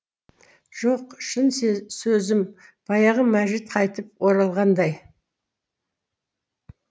жоқ шын сөзім баяғы мәжит қайтып оралғандай